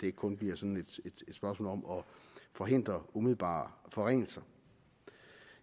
ikke kun bliver sådan et spørgsmål om at forhindre umiddelbare forringelser